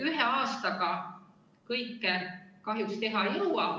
Ühe aastaga kõike kahjuks teha ei jõua.